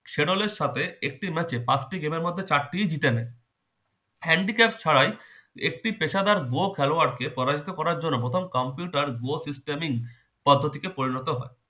সে দলের সাথে একটি match এ পাঁচটি game এর মধ্যে চারটি জিতেন handy craft ছাড়াই একটি পেশাদার golf খেলোয়ার কে পরাজিত করার জন্য প্রথম computer bot systeming পদ্ধতিতে পরিণত হয়